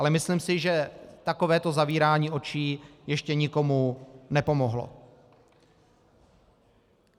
Ale myslím si, že takovéto zavírání očí ještě nikomu nepomohlo.